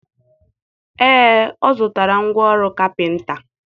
Ee, ọ zụtara ngwa ọrụ kapịnta.